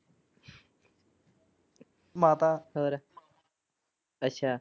ਹੋਰ ਅੱਛਾ।